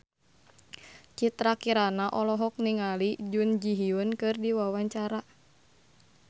Citra Kirana olohok ningali Jun Ji Hyun keur diwawancara